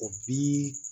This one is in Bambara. O bi